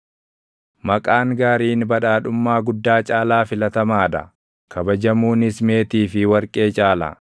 Maqaan gaariin badhaadhummaa guddaa caalaa filatamaa dha; kabajamuunis meetii fi warqee caala.